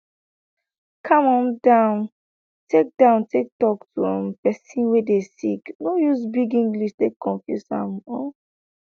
calm um down take down take talk to um pesin wey dey sick no use big english take confuse am um